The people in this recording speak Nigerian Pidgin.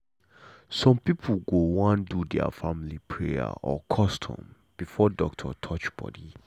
some people go wan do their family prayer or custom before doctor touch body.